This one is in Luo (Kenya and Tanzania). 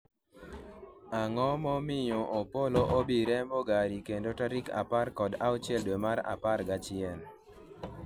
ang'o momiyo Opollo o bi rembo gari kendo tarik apar kod auchiel dwe mar apar gachiel